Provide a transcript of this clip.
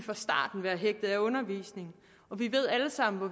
være hægtet af undervisningen vi ved alle sammen hvor